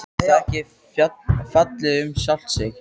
Er það ekki fallið um sjálft sig?